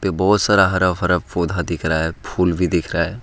बहोत सारा हरा भरा पौधा दिख रहा है फूल भी दिख रहा है।